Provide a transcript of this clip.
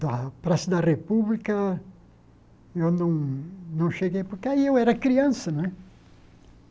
da Praça da República, eu não não cheguei, porque aí eu era criança, né?